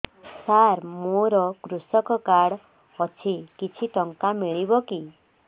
ସାର ମୋର୍ କୃଷକ କାର୍ଡ ଅଛି କିଛି ଟଙ୍କା ମିଳିବ କି